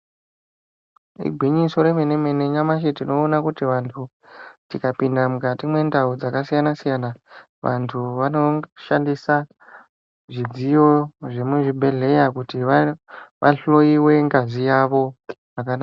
Igwinyiso remene mene nyamashi tinoona kuti vantu tikapinda mukati mwendau dzakasiyana siyana vantu vanoshandisa zvidziyo zvemuzvibhedhkera kuti vahloiwe ngazi yavo zvakanaka.